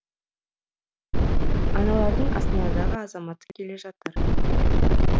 аналардың астанадағы азаматы келе жатыр